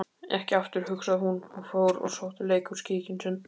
Ekki aftur, hugsaði hún, og fór og sótti leikhúskíkinn sinn.